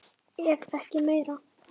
Ef ekki meira.